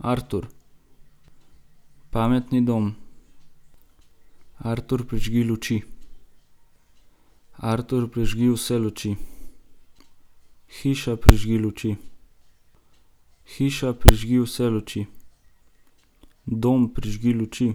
Artur. Pametni dom. Artur, prižgi luči. Artur, prižgi vse luči. Hiša, prižgi luči. Hiša, prižgi vse luči. Dom, prižgi luči.